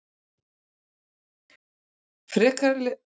Frekara lesefni á Vísindavefnum: Hvað eru hlutabréfavísitölur?